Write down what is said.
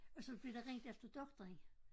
Og så blev der ringet efter doktoren